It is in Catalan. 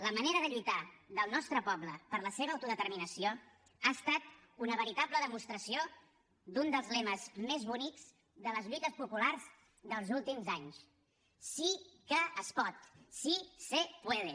la manera de lluitar del nostre poble per la seva autodeterminació ha estat una veritable demostració d’un dels lemes més bonics de les lluites populars dels últims anys sí que es pot sí se puede